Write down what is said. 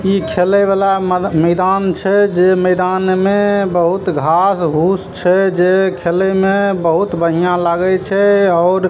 इ खेले वाला मद मैदान छै जे मैदान में बहुत घास भूस छै जे खेले में बहुत बढ़िया लागे छै और --